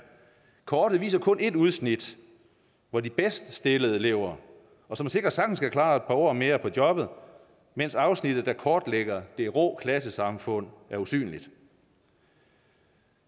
kortet viser kun et udsnit hvor de bedst stillede lever som sikkert sagtens kan klare et par år mere på jobbet mens afsnittet der kortlægger det rå klassesamfund er usynligt